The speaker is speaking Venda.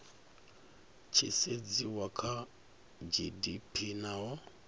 tshi sedziwa kha gdp naho